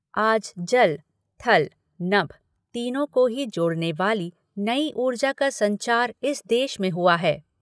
आज जल, थल, नभ तीनों को ही जोड़ने वाली नई ऊर्जा का संचार इस देश में हुआ है।